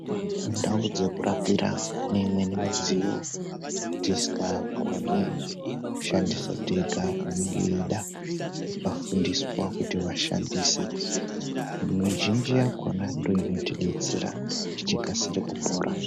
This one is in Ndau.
Mundau dzekurapira mune imweni midziyo dzatisingakoni kushandisa tega inenge yeida vakafundiswa kuti vashandise mizhinji yakona ndo inotidetsera kuti tikasire kupora.